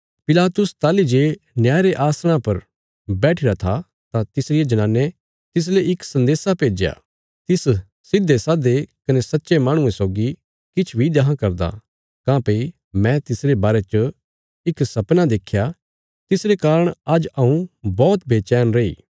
पिलातुस ताहली जे न्याय रे आसणा पर बैठिरा था तां तिसरिये जनाने तिसले इक संदेशा भेज्या तिस सिधेसाधे कने सच्चे माहणुये सौगी किछ बी देखां करदा काँह्भई मैं तिसरे बारे च इक सपना देख्या तिसरे कारण आज्ज हऊँ बौहत बेचैन रैई